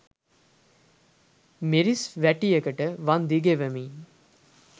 මිරිස් වැටියකට වන්දි ගෙවමින්